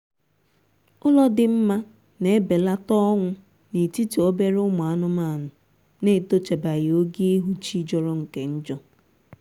otu ụlọ dị kwesịrị ime ka nwebata ihe ndi e ji ehicha ụlọ dịka shọvelụ aziza na eriri e ji agbabata mmiri dị mfe